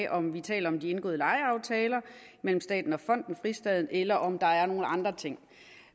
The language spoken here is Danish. om vi taler om de indgåede lejeaftaler mellem staten og fonden fristaden christiania eller om der er nogle andre ting